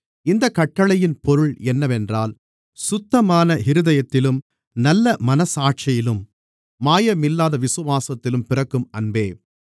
இந்த கட்டளையின் பொருள் என்னவென்றால் சுத்தமான இருதயத்திலும் நல்லமனச்சாட்சியிலும் மாயமில்லாத விசுவாசத்திலும் பிறக்கும் அன்பே